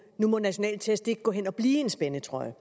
at nu må nationale test ikke gå hen og blive en spændetrøje